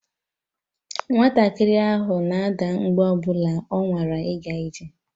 Nwatakịrị ahụ na-ada mgbe ọ bụla ọ nwara ịga ije